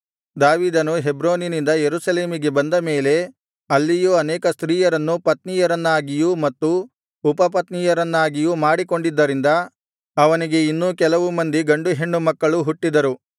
ದಾವೀದನು ಹೆಬ್ರೋನಿನಿಂದ ಯೆರೂಸಲೇಮಿಗೆ ಬಂದ ಮೇಲೆ ಅಲ್ಲಿಯೂ ಅನೇಕ ಸ್ತ್ರೀಯರನ್ನು ಪತ್ನಿಯರನ್ನಾಗಿಯೂ ಮತ್ತು ಉಪಪತ್ನಿಯರನ್ನಾಗಿಯೂ ಮಾಡಿಕೊಂಡಿದ್ದರಿಂದ ಅವನಿಗೆ ಇನ್ನೂ ಕೆಲವು ಮಂದಿ ಗಂಡು ಹೆಣ್ಣು ಮಕ್ಕಳು ಹುಟ್ಟಿದರು